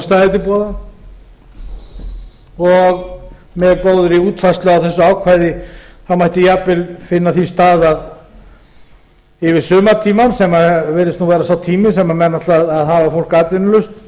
hún stæði til boða og með góðri útfærslu á þessu ákvæði mætti jafnvel finna því stað yfir sumartímann sem virðist vera sá tími sem menn ætla að hafa fólk atvinnulaust